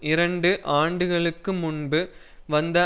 இரண்டு ஆண்டுகளுக்கு முன்பு வந்த